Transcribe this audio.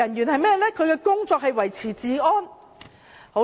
他們的工作是維持治安。